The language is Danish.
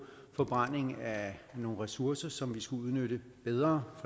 forbrænding af nogle ressourcer som vi skulle udnytte bedre